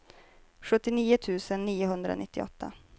sjuttionio tusen niohundranittioåtta